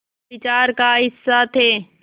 विचार का हिस्सा थे